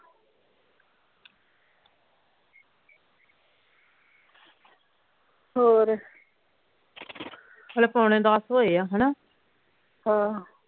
ਹੋਰ ਹਾਲੇ ਪੌਣੇ ਦੱਸ ਹੋਏ ਆ ਹਣਾ ਹਾਂ